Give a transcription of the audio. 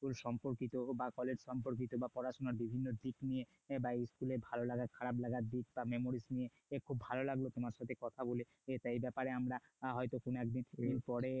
সম্পর্কিত বা কলেজ সম্পর্কিত পড়াশোনার বিভিন্ন দিক নিয়ে বা school এর ভালোলাগা খারাপ লাগার দিক বা memories নিয়ে খুব ভালো লাগলো তোমার সাথে কথা বলে এই ব্যাপারে আমরা হয়তো কোন একদিন এরপরে